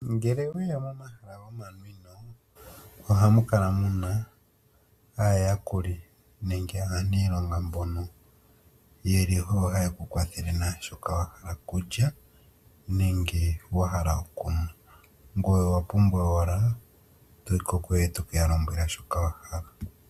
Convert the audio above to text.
Ngele owe ya momahala gomanwino ohamu kala mu na aayakuli nenge aaniilonga mbono ye li oyo haye ku kwathele naa shoka wa hala okulya nenge wa hala okunwa, ngoye owa pumbwa owala toyi ko kuyo e to ke ya lombwela shoka wa hala.